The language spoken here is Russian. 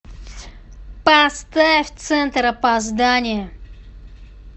поставь центр опоздание